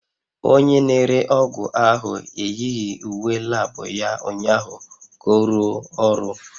Onye na-ere ọgwụ ahụ eyighị uwe lab ya ụnyaahụ ka ọ rụọ ọrụ